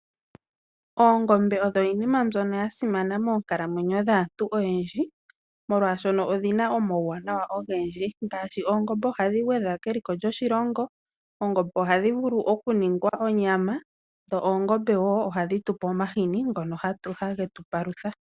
Oongombe odho iinima mbyono yasimana moonkalamwenyo dhaantu oyendji, molwashono odhina omawuwanawa ogendji ngaashi, oongombe ohadhi gwedha keliko lyoshilongo. Oongombe ohadhi vulu okuningwa onyama, dho oongombe wo ohadhi tupe omahini ngono hagetu palutha.